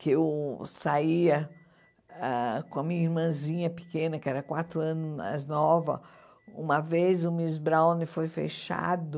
que eu saía ah com a minha irmãzinha pequena, que era quatro anos mais nova, uma vez o Miss Browne foi fechado,